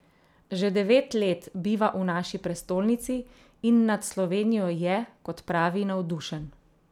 Že devet let biva v naši prestolnici in nad Slovenijo je, kot pravi, navdušen.